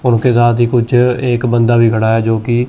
उनके साथ हि कुछ एक बंदा भी खड़ा है जोकि--